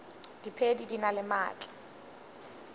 diphedi di na le maatla